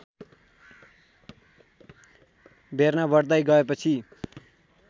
बेर्ना बढ्दै गएपछि